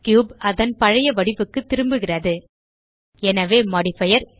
cube அதன் பழைய வடிவுக்கு திரும்புகிறது எனவே மோடிஃபயர்